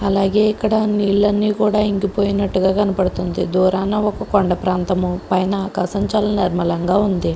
అలాగే ఇక్కడ నీళ్లన్నీ కూడా ఇంకి పోయినట్లుగా కనపడుతుంది దూరాన ఒక కొండ ప్రాంతం పైన ఆకాశం చాల నిర్మలంగా ఉంది.